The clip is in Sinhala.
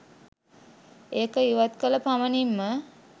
ඒක ඉවත් කළ පමණින්ම